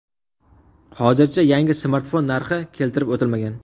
Hozircha yangi smartfon narxi keltirib o‘tilmagan.